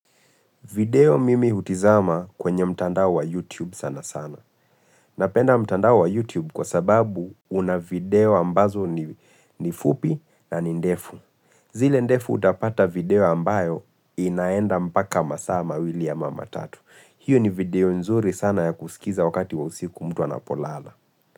Video mimi hutizama kwenye mtandao wa YouTube sana sana. Napenda mtandao wa YouTube kwa sababu una video ambazo ni fupi na ni ndefu. Zile ndefu utapata video ambayo inaenda mpaka masaa mawili ama matatu. Hiyo ni video nzuri sana ya kusikiza wakati wa usiku mtu anapolala.